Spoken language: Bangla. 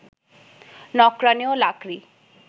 নকরানি ও লাকড়ি